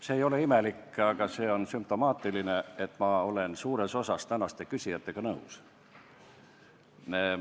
See ei ole imelik, see on sümptomaatiline, et ma olen suures osas tänaste küsijatega nõus.